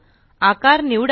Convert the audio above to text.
आकार निवडा